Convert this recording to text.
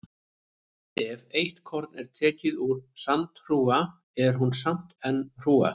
Ef eitt korn er tekið úr sandhrúga er hún samt enn hrúga.